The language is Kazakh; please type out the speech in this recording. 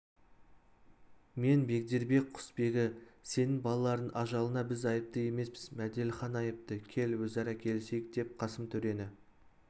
мен бегдербек құсбегі сенің балаларыңның ажалына біз айыпты емеспіз мәделіхан айыпты кел өзара келісейік деп қасым төрені